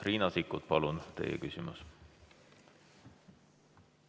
Riina Sikkut, palun teie küsimus!